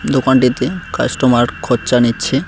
দোকানটিতে কাস্টমার খরচা নিচ্ছে।